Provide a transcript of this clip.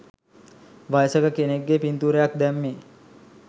වයසක කෙනෙක්ගේ පින්තූරයක් දැම්මේ?